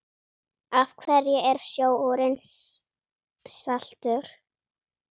Af hverju er sjórinn saltur?